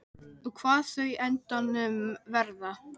Og hvað þau á endanum verða.